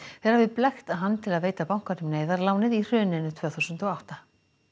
þeir hafi blekkt hann til að veita bankanum neyðarlánið í hruninu tvö þúsund og átta